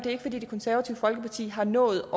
er fordi det konservative folkeparti har nået